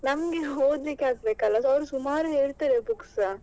ಆದ್ರೆ ನಮ್ಗೆ ಓದ್ಲಿಕ್ಕೆ ಆಗ್ಬೇಕಲ್ಲ ಅವರು ಸುಮಾರ್ ಹೇಳ್ತಾರೆ books ಸ.